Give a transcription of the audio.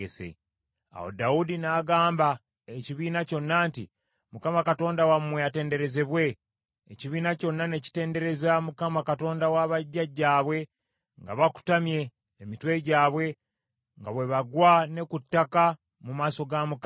Awo Dawudi n’agamba ekibiina kyonna nti, “ Mukama Katonda wammwe atenderezebwe.” Ekibiina kyonna ne kitendereza Mukama , Katonda wa bajjajjaabwe nga bakutamye emitwe gyabwe, nga bwe bagwa ne ku ttaka mu maaso ga Mukama ne kabaka.